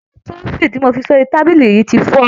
Ìgò trophy tí mo fi sórí tábìlì yìí ti fọ́.